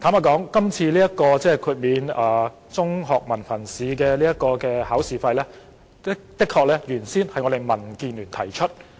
坦白說，代繳中學文憑試考試費的建議最初由民主建港協進聯盟提出。